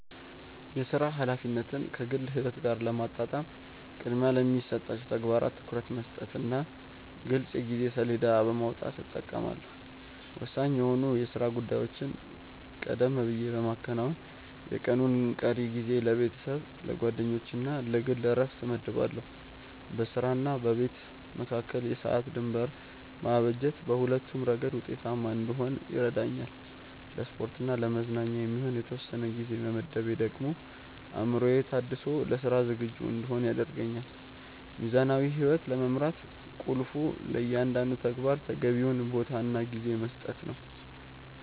የሥራ ኃላፊነትን ከግል ሕይወት ጋር ለማጣጣም ቅድሚያ ለሚሰጣቸው ተግባራት ትኩረት በመስጠትና ግልጽ የጊዜ ሰሌዳ በማውጣት እጠቀማለሁ። ወሳኝ የሆኑ የሥራ ጉዳዮችን ቀደም ብዬ በማከናወን፣ የቀኑን ቀሪ ጊዜ ለቤተሰብ፣ ለጓደኞችና ለግል ዕረፍት እመድባለሁ። በሥራና በቤት መካከል የሰዓት ድንበር ማበጀት በሁለቱም ረገድ ውጤታማ እንድሆን ይረዳኛል። ለስፖርትና ለመዝናኛ የሚሆን የተወሰነ ጊዜ መመደቤ ደግሞ አእምሮዬ ታድሶ ለሥራ ዝግጁ እንድሆን ያደርገኛል። ሚዛናዊ ሕይወት ለመምራት ቁልፉ ለእያንዳንዱ ተግባር ተገቢውን ቦታና ጊዜ መስጠት ነው።